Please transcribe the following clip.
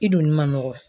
I dun ma nɔgɔn